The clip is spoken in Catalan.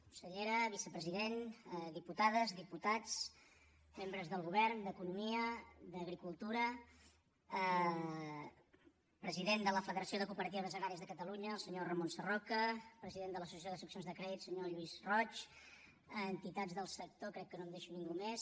consellera vicepresident diputades diputats membres del govern d’economia d’agricultura president de la federació de cooperatives agràries de catalunya el senyor ramon sarroca president de l’associació de seccions de crèdit senyor lluís roig entitats del sector crec que no em deixo ningú més